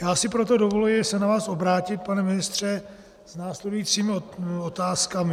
Já si proto dovoluji se na vás obrátit, pane ministře, s následujícími otázkami.